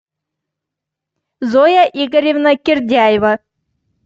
зоя игоревна кирдяева